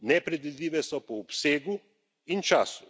Nepredvidljive so po obsegu in času.